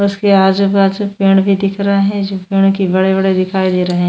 उसके आजूबाजू पेड़ भी दिख रहे है जो पेड़ की बड़े बड़े दिखाई दे रहे है।